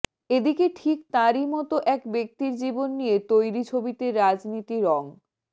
এদিকে ঠিক তাঁরই মতো এক ব্যক্তির জীবন নিয়ে তৈরি ছবিতে রাজনীতি রঙ